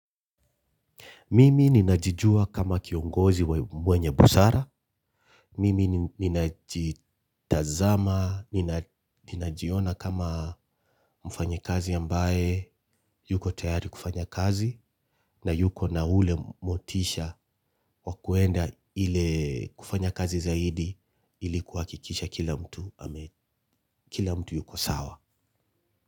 Mimi ninajijua kama kiongozi mwenye busara. Mimi ninajitazama, ninajiona kama mfanyakazi ambaye yuko tayari kufanya kazi na yuko na ule motisha wa kwenda ile kufanya kazi zaidi ili kuhakikisha kila mtu kila mtu yuko sawa.